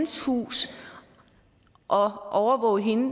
sit hus og overvåge hende